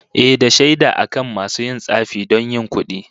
Ehh, da shaida akan masu yin tsafi don yin kudi